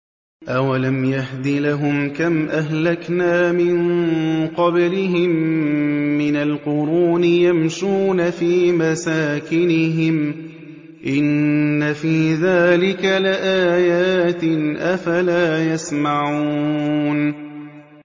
أَوَلَمْ يَهْدِ لَهُمْ كَمْ أَهْلَكْنَا مِن قَبْلِهِم مِّنَ الْقُرُونِ يَمْشُونَ فِي مَسَاكِنِهِمْ ۚ إِنَّ فِي ذَٰلِكَ لَآيَاتٍ ۖ أَفَلَا يَسْمَعُونَ